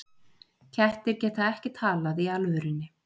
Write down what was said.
Kettir geta ekki talað í alvörunni